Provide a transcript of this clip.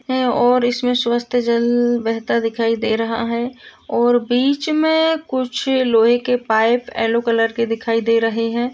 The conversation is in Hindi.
है और इसमें स्वस्थ जल बहता दिखाई दे रहा है और बीच में कुछ लोहे के पाइप एलो कलर के दिखाई दे रहें हैं।